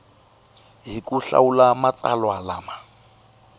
hi ku hlawula matsalwa lama